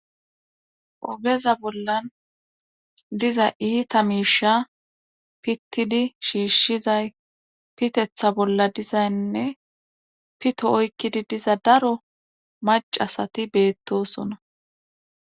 ogeza bollan diza iita miisha pittidi shiishshizay pitetha bolla dizaynne pito oykkidi diza daro macasati beettosona